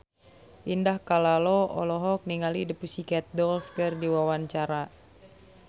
Indah Kalalo olohok ningali The Pussycat Dolls keur diwawancara